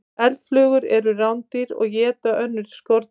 Eldflugur eru rándýr og éta önnur skordýr.